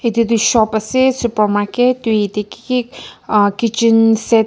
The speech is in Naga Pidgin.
itutu shop ase supermarket tui etey kiki uh kitchen set la--